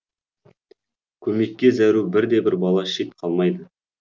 көмекке зәру бір де бір бала шет қалмайды